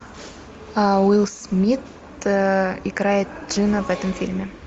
уилл смит играет джина в этом фильме